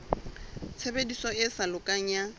tshebediso e sa lokang ya